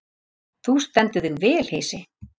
Þú stendur þig vel, Heisi!